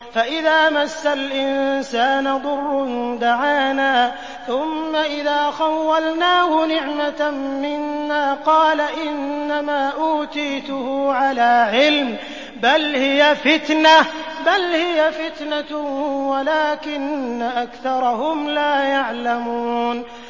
فَإِذَا مَسَّ الْإِنسَانَ ضُرٌّ دَعَانَا ثُمَّ إِذَا خَوَّلْنَاهُ نِعْمَةً مِّنَّا قَالَ إِنَّمَا أُوتِيتُهُ عَلَىٰ عِلْمٍ ۚ بَلْ هِيَ فِتْنَةٌ وَلَٰكِنَّ أَكْثَرَهُمْ لَا يَعْلَمُونَ